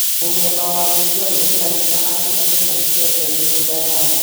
Mũmemba wa Bunge gwĩkĩra hinya atĩ andũ matikaendia mĩgũnda yao